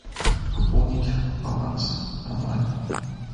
пополнить баланс онлайн